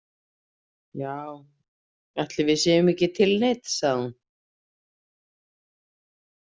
Já, ætli við séum ekki tilneydd, sagði hún.